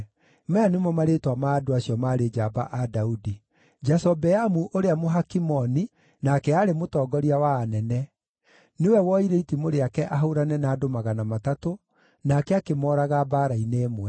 Maya nĩmo marĩĩtwa ma andũ acio maarĩ njamba a Daudi: Jashobeamu ũrĩa Mũhakimoni nake aarĩ mũtongoria wa anene; nĩwe woire itimũ rĩake ahũũrane na andũ 300, nake akĩmooraga mbaara-inĩ ĩmwe.